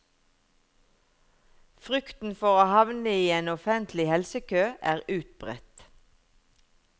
Frykten for å havne i en offentlig helsekø er utbredt.